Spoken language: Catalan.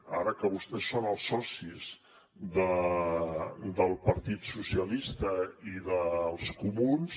ara que vostès són els socis del partit socialista i dels comuns